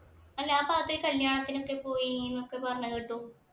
അല്ല ആ ഭാഗത്തു കല്യാണത്തിന് പോയിന്നൊക്കെ പറയുന്ന കേട്ടു.